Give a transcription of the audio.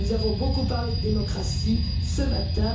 Nous avons beaucoup parlé de démocratie ce matin.